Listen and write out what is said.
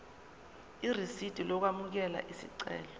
irisidi lokwamukela isicelo